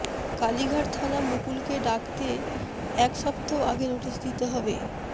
কালীঘাট থানা মুকুলকে ডাকতে এক সপ্তাাহ আগে নোটিস দিতে হবে